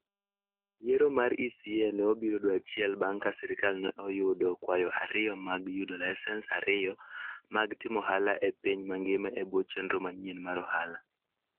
Yiero mar ECA ne obiro dwe achiel bang' ka sirkal ne oyudo kwayo ariyo mag yudo laisens ariyo mag timo ohala e piny mangima e bwo chenro manyien mar ohala.